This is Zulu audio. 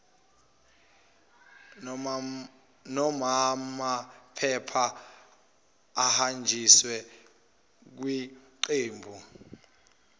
nomaamaphepha ahanjiswe kwiqembu